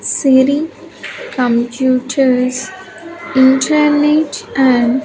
Siri computers internet and--